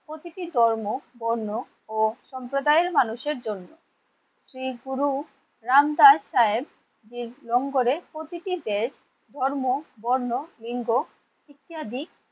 প্রতিটি ধর্ম, বর্ণ ও সম্প্রদায়ের মানুষের জন্য। শ্রী গুরু রাম দাস সাহেব প্রতিটি দেশ ধর্ম, বর্ণ, লিঙ্গ ইত্যাদি